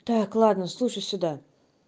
так ладно слушай сюда